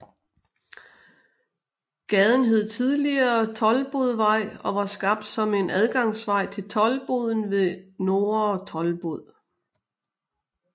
Gaden hed tidligere Toldbodvej og var skabt som en adgangsvej til toldboden ved Nordre Toldbod